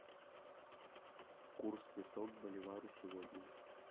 курс песо к боливару сегодня